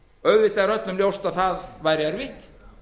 auðvitað er öllum ljóst að það væri erfitt